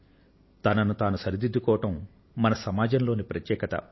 తనను తాను సరిదిద్దుకోవడం మన సమాజంలోని ప్రత్యేకత